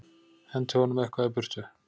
Henti honum eitthvað í burtu.